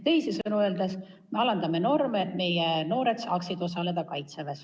Teisisõnu me alandame norme, et meie noored saaksid Kaitseväes teenida.